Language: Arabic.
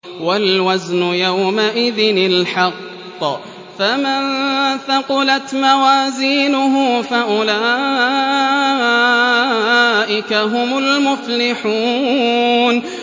وَالْوَزْنُ يَوْمَئِذٍ الْحَقُّ ۚ فَمَن ثَقُلَتْ مَوَازِينُهُ فَأُولَٰئِكَ هُمُ الْمُفْلِحُونَ